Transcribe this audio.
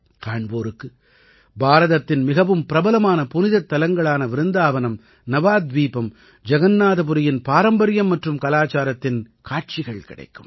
காண்போருக்கு பாரதத்தின் மிகவும் பிரபலமான புனிதத்தலங்களான விருந்தாவனம் நவாத்வீபம் ஜகன்னாதபுரியின் பாரம்பரியம் மற்றும் கலாச்சாரத்தின் காட்சி கிடைக்கும்